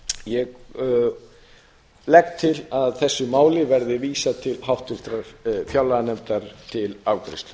ég legg til að þessu máli verði vísað til háttvirtrar fjárlaganefndar til afgreiðslu